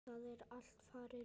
Það er allt farið núna.